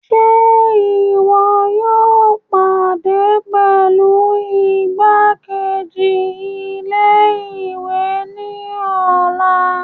Ṣe iwọ yóò pàdé pẹlú igbakeji-ilé-ìwé ni ọlá?